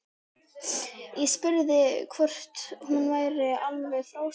Ég spurði hvort hún væri alveg frá sér.